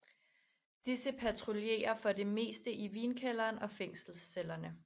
Disse patruljerer for det meste i vinkælderen og fængselscellerne